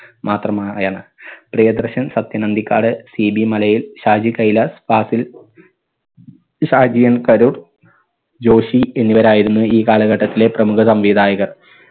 മാത്രമായാണ് Priyadarshan Sathyan Anthikad CB മലയിൽ Shaji Kailas Fazil Shaji N Karoor Joshi എന്നിവരായിരുന്നു ഈ കാലഘട്ടത്തിലെ പ്രമുഖ സംവിധായകർ.